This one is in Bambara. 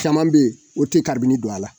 Caman bɛ yen o tɛ karibini don a la